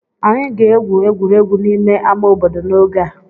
Anyị ga-egwu egwuregwu n'ime ama obodo n'oge a.